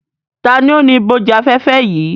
Ta ni ó ni ìbòjú-afẹ́fẹ́ yìí?